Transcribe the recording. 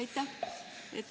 Aitäh!